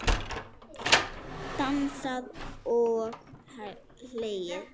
Dansað og hlegið.